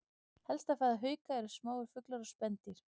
Helsta fæða hauka eru smáir fuglar og spendýr.